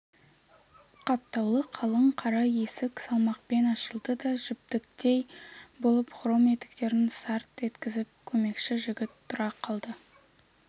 қаптаулы қалың қара есік салмақпен ашылды да жіптіктей болып хром етіктерін сарт еткізіп көмекші жігіт тұра қалды